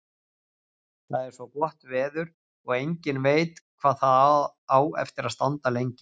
Það er svo gott veður og enginn veit hvað það á eftir að standa lengi.